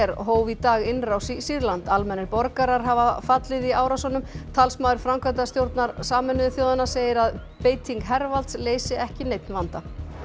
hóf í dag innrás í Sýrland almennir borgarar hafa fallið í árásunum talsmaður framkvæmdastjóra Sameinuðu þjóðanna segir að beiting hervalds leysi ekki neinn vanda